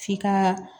F'i ka